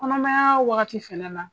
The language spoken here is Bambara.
Kɔnɔmanya wagati fɛnɛ na